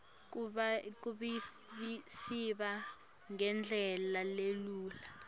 kuvisisa ngendlela lelula